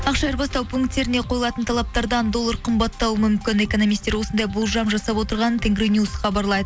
ақша айырбастау пунктеріне қойылатын талаптардан доллар қымбаттауы мүмкін экономистер осындай болжам жасап отырғанын тенгринюс хабарлайды